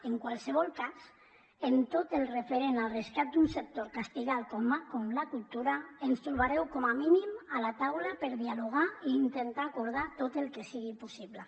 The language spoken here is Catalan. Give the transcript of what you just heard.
en qualsevol cas en tot el referent al rescat d’un sector castigat com la cultura ens trobareu com a mínim a la taula per dialogar i intentar acordar tot el que sigui possible